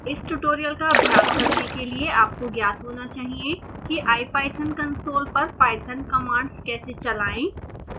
इस ट्यूटोरियल का अभ्यास करने के लिए आपको ज्ञात होना चाहिए कि ipython कंसोल पर पाइथन कमांड्स कैसे चलाएं